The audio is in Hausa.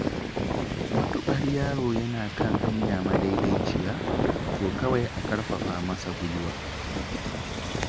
Matuƙar yaro yana kan hanya madaidaiciya, to kawai a ƙarfafa masa guiwa.